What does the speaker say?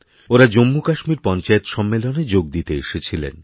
ওঁরাজম্মুকাশ্মীর পঞ্চায়েত সম্মেলনে যোগ দিতে এসেছিলেন